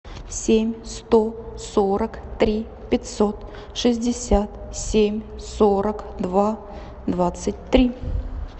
семь сто сорок три пятьсот шестьдесят семь сорок два двадцать три